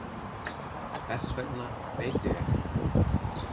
Hvers vegna veit ég ekki.